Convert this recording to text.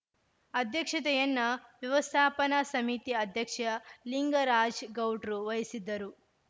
ಅಧ್ಯಕ್ಷತೆಯನ್ನ ವ್ಯವಸ್ಥಾಪನಾ ಸಮಿತಿ ಅಧ್ಯಕ್ಷ ಲಿಂಗರಾಜ್ ಗೌಡ್ರು ವಹಿಸಿದ್ದರು